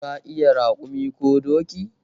Ka iya raƙumi ko doki?